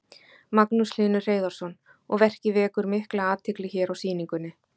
Magnús Hlynur Hreiðarsson: Og verkið vekur mikla athygli hér á sýningunni?